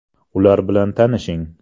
Ular bilan tanishing.